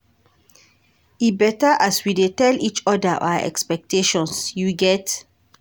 E beta as we dey tell each oda our expectations, you get?